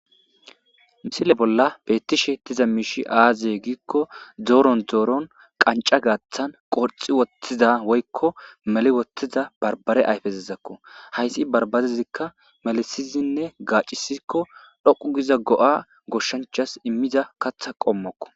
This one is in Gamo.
Missile bolla bettishe dizzy azze gikko doro doroqanca gathan qanxi wothida woykon meli wothida banbare ayfezako banbarezika melethidine gacisiko go'a goshanchas imiza katha qommoko